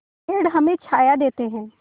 पेड़ हमें छाया देते हैं